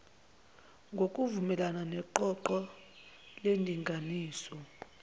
ngokuvumelana neqoqo lendinganiso